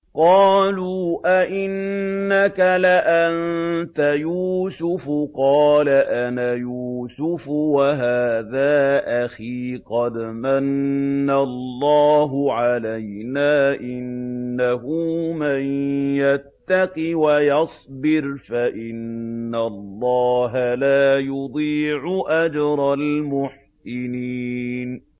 قَالُوا أَإِنَّكَ لَأَنتَ يُوسُفُ ۖ قَالَ أَنَا يُوسُفُ وَهَٰذَا أَخِي ۖ قَدْ مَنَّ اللَّهُ عَلَيْنَا ۖ إِنَّهُ مَن يَتَّقِ وَيَصْبِرْ فَإِنَّ اللَّهَ لَا يُضِيعُ أَجْرَ الْمُحْسِنِينَ